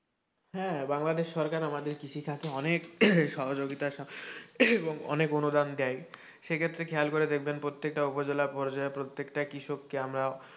হ্যাঁ, বাংলাদেশ সরকার আমাদের কৃষিটাকে অনেক সহযোগিতা এবং অনেক অনুদান দেয় সে ক্ষেত্রে খেয়াল করে দেখবেন প্রত্যেকটা উপজেলা পর্যায়ে, প্রত্যেকটা কৃষককে আমরা,